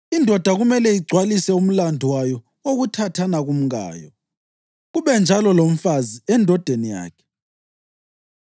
Indoda kumele igcwalise umlandu wayo wokuthathana kumkayo, kube njalo lomfazi endodeni yakhe.